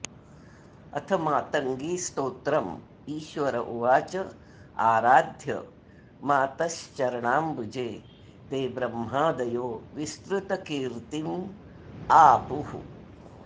अथमातङ्गीस्तोत्रम् ईश्वर उवाच आराध्य मातश्चरणाम्बुजे ते ब्रह्मादयो विस्तृतकीर्त्तिमापुः